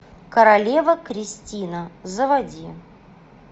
королева кристина заводи